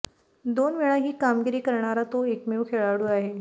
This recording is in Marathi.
दोन वेळा ही कामगिरी करणारा तो एकमेव खेळाडू आहे